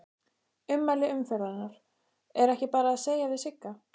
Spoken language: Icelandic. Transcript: Ummæli umferðarinnar: Er ekki bara eitt að segja við Sigga?